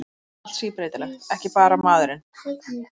Í henni er allt síbreytilegt, ekki bara maðurinn.